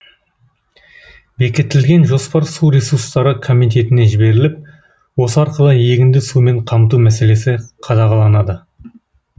бекітілген жоспар су ресурстары комитетіне жіберіліп осы арқылы егінді сумен қамту мәселесі қадағаланады